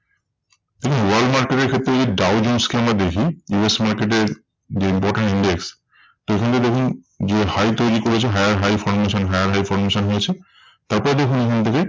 দেখুন world market এর ক্ষেত্রে যদি দাউ জোন্স কে আমরা দেখি US market এর যে important index তো ওখানে দেখুন যে high তৈরী করেছে higher high formation higher high formation হয়েছে। তারপরে দেখুন